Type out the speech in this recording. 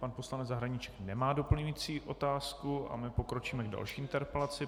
Pan poslanec Zahradníček nemá doplňující otázku, a my pokročíme k další interpelaci.